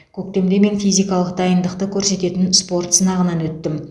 көктемде мен физикалық дайындықты көрсететін спорт сынағынан өттім